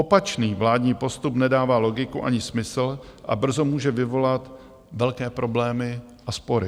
Opačný vládní postup nedává logiku ani smysl a brzo může vyvolat velké problémy a spory.